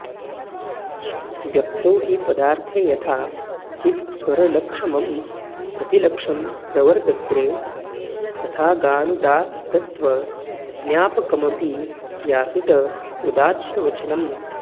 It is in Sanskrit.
व्यक्तौ हि पदार्थे यथा चित्स्वरलक्षमं प्रतिलक्ष्यं प्रवत्र्तते तथागानुदात्तत्वज्ञापकमपि यासुट उदात्तवचनम्